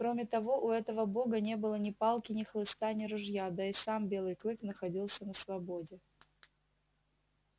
кроме того у этого бога не было ни палки ни хлыста ни ружья да и сам белый клык находился на свободе